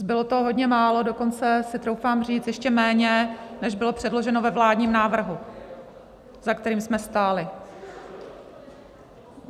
Bylo toho hodně málo, dokonce si troufám říct, ještě méně, než bylo předloženo ve vládním návrhu, za kterým jsme stáli.